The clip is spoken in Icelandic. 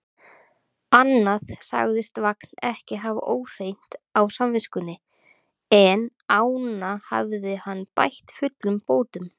Annað sagðist Vagn ekki hafa óhreint á samviskunni, en ána hafði hann bætt fullum bótum.